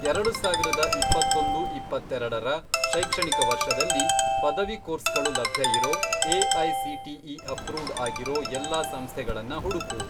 ಎರಡು ಸಾವಿರದ ಇಪ್ಪತ್ತೊಂದು, ಇಪ್ಪತ್ತೆರೆಡರ, ಶೈಕ್ಷಣಿಕ ವರ್ಷದಲ್ಲಿ, ಪದವಿ ಕೋರ್ಸ್ಗಳು ಲಭ್ಯ ಇರೋ, ಎಐಸಿಟಿಇ ಅಪ್ರೂವ್ಡ್ ಆಗಿರೋ ಎಲ್ಲಾ ಸಂಸ್ಥೆಗಳನ್ನ ಹುಡ್ಕು.